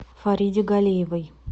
фариде галиевой